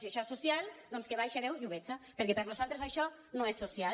si això és social doncs que baixe déu i ho veja perquè per nosaltres això no és social